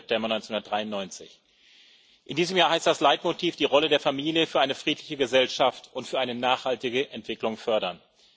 20. September 1993. In diesem Jahr heißt das Leitmotiv Die Rolle der Familie für eine friedliche Gesellschaft und für eine nachhaltige Entwicklung fördern.